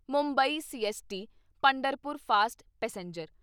Mumbai CST Pandharpur fast passenger